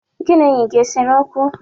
Gị na enyi gi esere okwu?